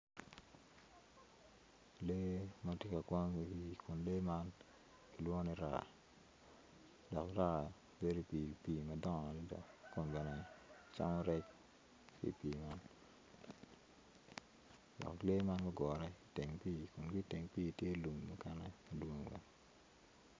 Lee ma ti kawang kun lee ma kilwongoni raa dok raa bedi pii madongo adada kun bene camo rec ki i pii man dok lee man gugure iteng pii kun ki iteng pii kenyo lum mukene dwong